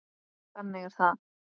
Þannig er það.